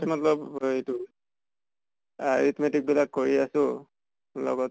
মত্লব এই ৰ টো arithmetic বিলাক কৰি আছো। লগতে